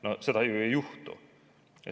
No seda ju ei juhtu.